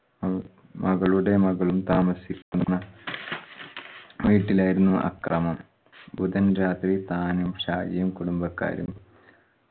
ഉം മകളുടെ മകളും താമസിക്കുന്ന വീട്ടിലായിരുന്നു ആക്രമം. ബുധൻ രാത്രി താനും ഷാജിയും കുടുംബക്കാരും